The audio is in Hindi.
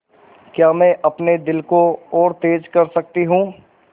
क्या मैं अपने दिल को और तेज़ कर सकती हूँ